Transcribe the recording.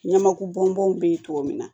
Ɲamaku bɔnbɔnw be ye cogo min na